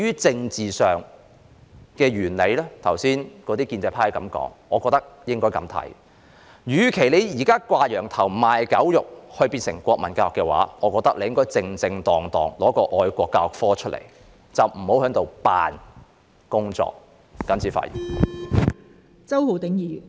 建制派議員剛才提過政治上的理由，我認為與其"掛羊頭，賣狗肉"，推行變相的國民教育，不如正正當當推出愛國教育科，不要裝模作樣。